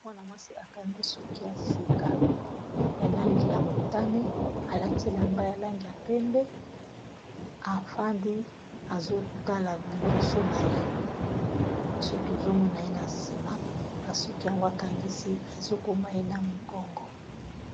Mwana-mwasi akangi soki ya sengi ya langi ya motane alati elamba ya langi ya pembe afandi azotala liboso na ye biso tozomona ye na nsima ba suki yango akangisi ezokoma ye na mokongo.